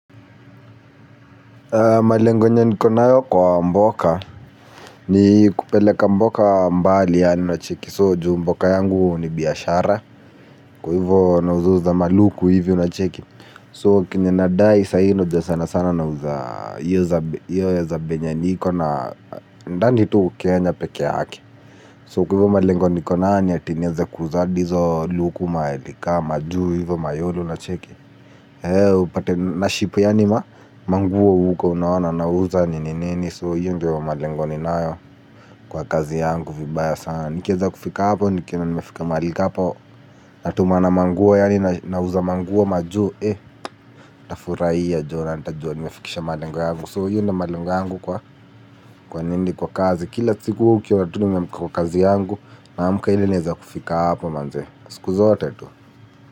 Malengo yenye niko nayo kwa mboka ni kupeleka mboka mbali ya ni nacheki so juu mboka yangu ni biyashara kwa hivo na uzuza maluku hivyo nacheki so kenye nadai sahi unajua sana sana na uzuza yuza yu zabe yenye niko na ndani tuu kenya peke yaki so kwa hivo malengo nikonanya tinieze kuza hizo luku maeli ka majiu hivyo mayolo nacheki. He upate na ship ya nima, manguo huko unawana nauza nini nini. So hiyo ndi wa madengo ni nayo kwa kazi yangu vibaya sana. Nikieza kufika hapo, nikieza nimefika mahali ka hapo. Natuma na manguwa ya nina uza manguo maju, eh, tafurai ya jona, nita jona nimefikisha madengo ya mungu. So hiyo ndi wa madengo yangu kwa nini kwa kazi, kila tsiku, kila tuni mpika kwa kazi yangu. Naamuka hili nieza kufika hapo manze, siku zote tu.